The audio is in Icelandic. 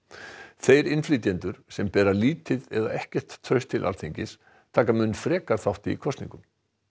þeir innflytjendur sem bera lítið eða ekkert traust til Alþingis taka mun frekar þátt í kosningum